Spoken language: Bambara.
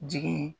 Jigin